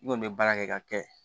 I kɔni bɛ baara kɛ ka kɛ